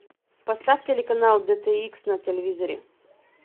поставь телеканал дт икс на телевизоре